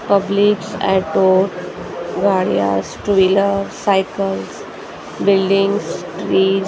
publics auto गाड़ियास two wheelers cycles buildings trees --